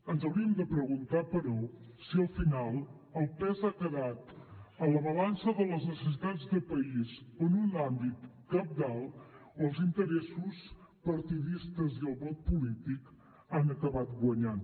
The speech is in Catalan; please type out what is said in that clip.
ens hauríem de preguntar però si al final el pes ha quedat a la balança de les necessitats de país en un àmbit cabdal o els interessos partidistes i el vot polític han acabat guanyant